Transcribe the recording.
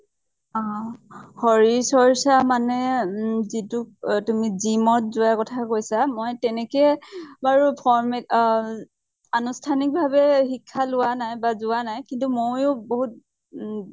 অহ। শৰীৰ চৰ্চা মানে উম যিটো এ তুমি gym ত যোৱাৰ কথা কৈছা। মই তেনেকে বাৰু formal আহ আনুষ্ঠানিক ভাবে শিক্ষা লোৱা নাই বা যোৱা নাই। কিন্তু ময়ো বহুত উম